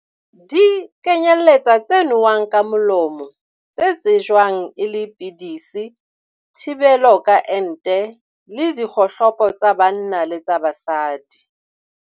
Di kenyeletsa tse nowang ka molomo, tse tsejwang e le pidisi, thibelo ka ente, le dikgohlopo tsa banna le tsa basadi.